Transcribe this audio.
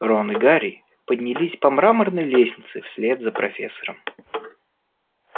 рон и гарри поднялись по мраморной лестнице вслед за профессором